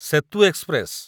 Setu express